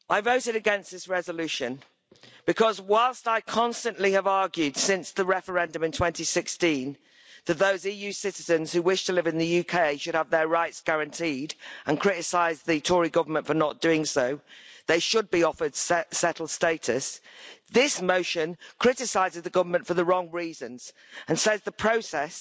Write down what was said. Madam President, I voted against this resolution because, whilst I constantly have argued since the referendum in 2016 that those EU citizens who wish to live in the UK should have their rights guaranteed and criticised the Tory government for not doing so, they should be offered settled status, this motion criticises the government for the wrong reasons and says the process